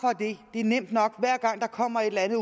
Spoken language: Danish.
det er nemt nok hver gang der kommer et eller andet